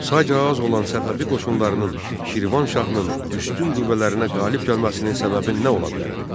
Sayca az olan Səfəvi qoşunlarının Şirvan şahının üstün qüvvələrinə qalib gəlməsinin səbəbi nə ola bilərdi?